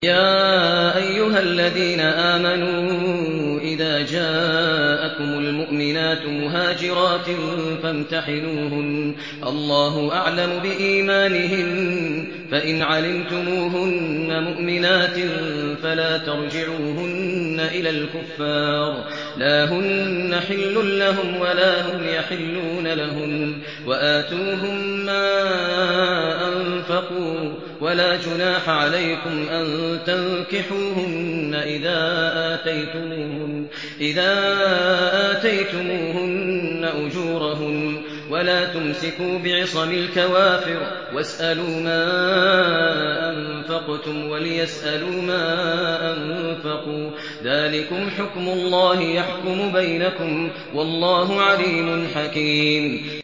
يَا أَيُّهَا الَّذِينَ آمَنُوا إِذَا جَاءَكُمُ الْمُؤْمِنَاتُ مُهَاجِرَاتٍ فَامْتَحِنُوهُنَّ ۖ اللَّهُ أَعْلَمُ بِإِيمَانِهِنَّ ۖ فَإِنْ عَلِمْتُمُوهُنَّ مُؤْمِنَاتٍ فَلَا تَرْجِعُوهُنَّ إِلَى الْكُفَّارِ ۖ لَا هُنَّ حِلٌّ لَّهُمْ وَلَا هُمْ يَحِلُّونَ لَهُنَّ ۖ وَآتُوهُم مَّا أَنفَقُوا ۚ وَلَا جُنَاحَ عَلَيْكُمْ أَن تَنكِحُوهُنَّ إِذَا آتَيْتُمُوهُنَّ أُجُورَهُنَّ ۚ وَلَا تُمْسِكُوا بِعِصَمِ الْكَوَافِرِ وَاسْأَلُوا مَا أَنفَقْتُمْ وَلْيَسْأَلُوا مَا أَنفَقُوا ۚ ذَٰلِكُمْ حُكْمُ اللَّهِ ۖ يَحْكُمُ بَيْنَكُمْ ۚ وَاللَّهُ عَلِيمٌ حَكِيمٌ